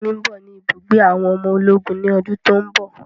Ẹ̀gbọ́n mi ń bọ̀ ni ibùgbé àwọn ọmọ ológun ni ọdún tòun bọ̀.